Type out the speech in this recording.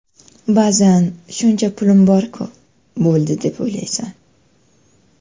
Ba’zan shuncha pulim borku, bo‘ldi deb o‘ylaysan.